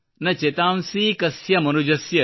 ನ ಚೆತಾಂಸೀ ಕಸ್ಯ ಮನುಜಸ್ಯ